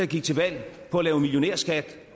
gik til valg på at lave en millionærskat